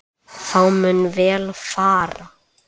Þá mun vel fara.